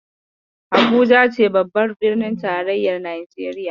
Habuja ce babbar birnin tarayyar Najeriya.